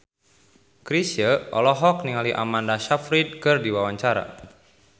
Chrisye olohok ningali Amanda Sayfried keur diwawancara